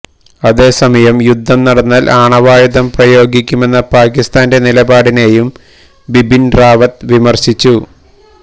അതേസമയം യുദ്ധം നടന്നാല് ആണവായുധം പ്രയോഗിക്കുമെന്ന പാക്കിസ്ഥാന്റെ നിലപാടിനെയും ബിബിന് റാവത്ത് വിമര്ശിച്ചു